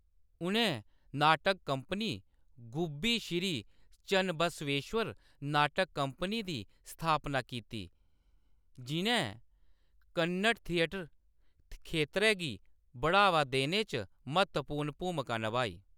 उʼनें नाटक कंपनी, गुब्बी श्री चन्नबसवेश्वर नाटक कंपनी दी स्थापना कीती, जिʼन्नै कन्नड़ थिएटर खेतरै गी बढ़ावा देने च म्हत्तवपूर्ण भूमका नभाई।